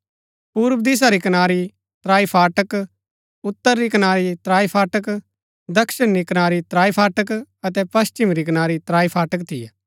पूर्व दिशा री कनारी त्राई फाटक उतर री कनारी त्राई फाटक दक्षिण री कनारी त्राई फाटक अतै पश्‍चिम री कनारी त्राई फाटक थियै